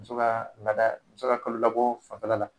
Muso ka laada muso ka kalo labɔ fanfɛla la.